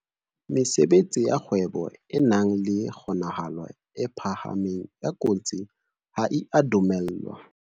Mesebetsi ya kgwebo e nang le kgonahalo e phahameng ya kotsi ha e a dumellwa